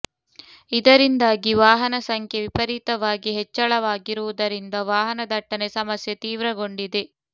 ಇದರಿಂದಾಗಿ ವಾಹನ ಸಂಖ್ಯೆ ವಿಪರೀತವಾಗಿ ಹೆಚ್ಚಳವಾಗಿರುವುದರಿಂದ ವಾಹನ ದಟ್ಟಣೆ ಸಮಸ್ಯೆ ತೀವ್ರಗೊಂಡಿದೆ